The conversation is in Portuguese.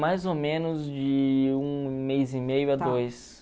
Mais ou menos de um mês e meio a dois.